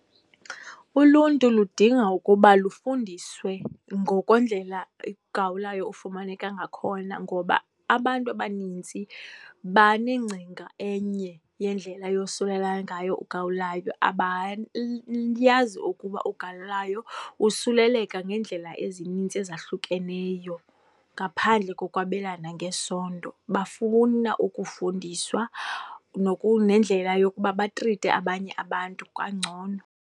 Uluntu ludinga ukuba lufundiswe ngokwendlela gawulayo ofumaneka ngakhona ngoba abantu abanintsi banengcinga enye yendlela eyosulelana ngayo ugawulayo. Abayazi ukuba ugawulayo usuleleka ngeendlela ezinintsi ezahlukeneyo ngaphandle kokwabelana ngesondo. Bafuna ukufundiswa nendlela yokuba batrite abanye abantu kangcono.